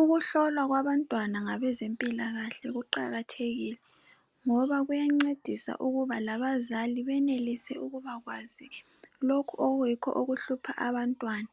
Ukuhlolwa kwabantwana ngabezempila kahle kuqakathekile ngoba kuyancedisa ukuba labazali benelise ukubakwazi lokhu okuhlupha abantwana